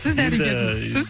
сіз дәрігердің сіз